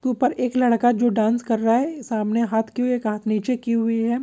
ऊपर एक लड़का जो डांस कर रहा है सामने हाथ किये हुए एक हाथ नीचे की हुई है।